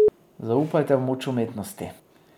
Zaupajte v moč umetnosti.